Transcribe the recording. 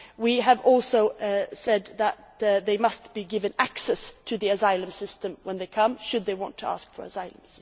We have also said that they must be given access to the asylum system when they come, should they want to ask for asylum.